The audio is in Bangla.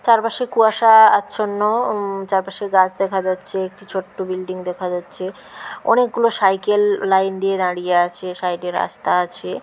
চারপাশে কুয়াশা আচ্ছ-ন্ন। চারপাশের গাছ দেখা যাচ্ছে। একটি ছোট্ট বিল্ডিং দেখা যাচ্ছে। অনেকগুলো সাইকেল লাইন দিয়ে দাঁড়িয়ে আছে। সাইড -এ রাস্তা আছে।